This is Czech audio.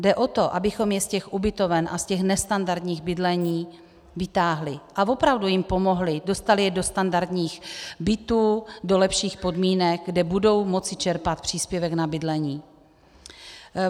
Jde o to, abychom je z těch ubytoven a z těch nestandardních bydlení vytáhli a opravdu jim pomohli, dostali je do standardních bytů, do lepších podmínek, kde budou moci čerpat příspěvek na bydlení.